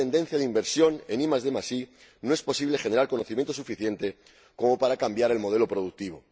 Con esta tendencia de inversión en IDi no es posible generar conocimientos suficientes para cambiar el modelo productivo.